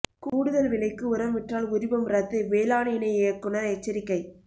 கூடுதல் விலைக்கு உரம் விற்றால் உரிமம் ரத்து வேளாண் இணை இயக்குநா் எச்சரிக்கை